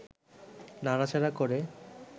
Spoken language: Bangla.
নাড়াচাড়া করে